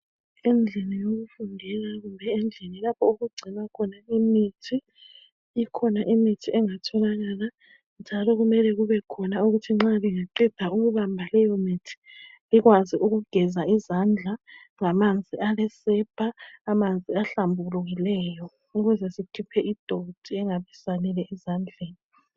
Endlini yokufundela kumbe endlini lapha okugcinwa khona imithi ikhona imithi engatholakala njalo kumele kubekhona ukuthi nxa bengaqeda ukubamba leyomithi bekwazi ukugeza izandla ngamanzi alesepa amanzi ahlambukileyo ukuze sikhiphe idonti ingasaleli ezandleni.